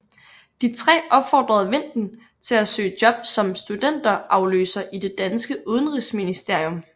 De tre opfordrede Vinten til at søge job som studenterafløser i det danske Udenrigsministerium